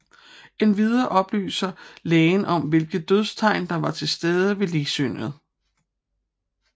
Endvidere oplyser lægen om hvilke dødstegn der var tilstede ved ligsynet